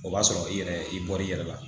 O b'a sɔrɔ i yɛrɛ i bɔr'i yɛrɛ la